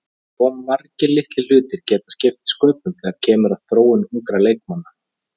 Svo margir litlir hlutir geta skipt sköpum þegar kemur að þróun ungra leikmanna.